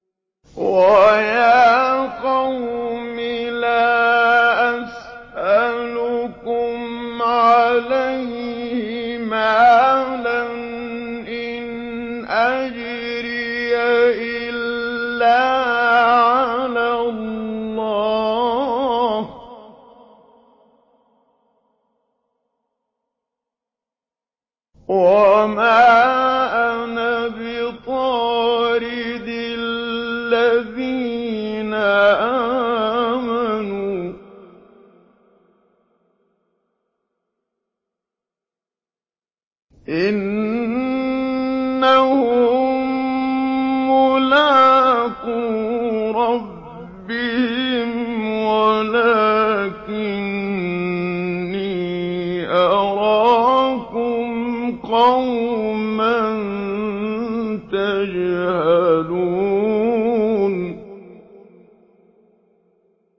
وَيَا قَوْمِ لَا أَسْأَلُكُمْ عَلَيْهِ مَالًا ۖ إِنْ أَجْرِيَ إِلَّا عَلَى اللَّهِ ۚ وَمَا أَنَا بِطَارِدِ الَّذِينَ آمَنُوا ۚ إِنَّهُم مُّلَاقُو رَبِّهِمْ وَلَٰكِنِّي أَرَاكُمْ قَوْمًا تَجْهَلُونَ